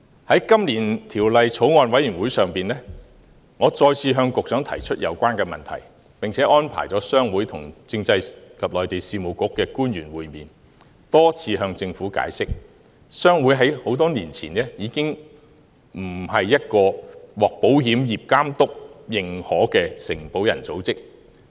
在今年法案委員會會議上，我再次向局長提出有關問題，並且安排商會跟政制及內地事務局的官員會面，多次向政府解釋，商會在多年前已經不是一個獲保險業監督認可的承保人組織。